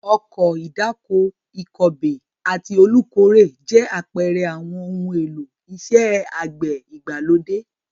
Ọkọ̀ ìdáko, ìkọbè àti olùkórè jẹ́ àpẹẹrẹ àwọn ohun èlò iṣẹ́ àgbẹ̀ ìgbàlódé.